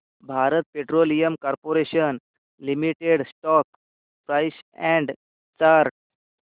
Bharat petroleum corporation limited stock price and chart